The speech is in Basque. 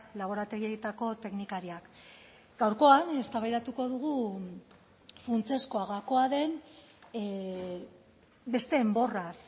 laborategietako teknikariak gaurkoan eztabaidatuko dugu funtsezkoa gakoa den beste enborraz